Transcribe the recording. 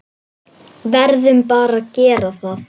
Verðum bara að gera það.